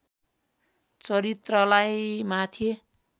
चरित्रलाई माथि